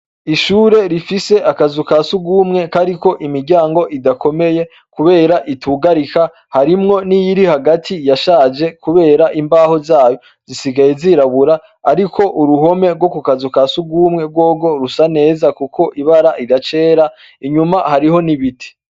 Ishure rifise akazu ka sugumwe kariko imiryango idakomeye, kubera itugarika harimwo niyiri hagati yashaje, kubera imbaho zayo zisigaye zirabura, ariko uruhome rwo ku kazu ka sugumwe rwogo rusa neza, kuko ibara idacera inyuma hariho nibiti.